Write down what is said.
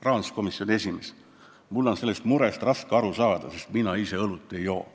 Rahanduskomisjoni esimehe vastus: "Mul on tõesti sellest murest raske aru saada, sest mina ise õlut ei joo.